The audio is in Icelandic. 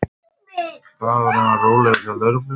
Dagurinn var rólegur hjá lögreglunni